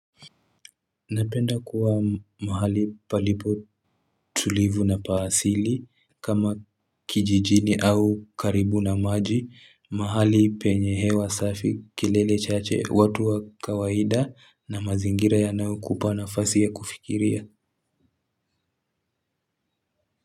Napenda kuwa mahali palipo tulivu na paasili kama kijijini au karibu na maji mahali penye hewa safi kelele chache watu wa kawaida na mazingira ya nayokupana fasi ya kufikiria.